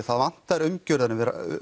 það vantar umgjörðina